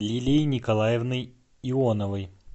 лилией николаевной ионовой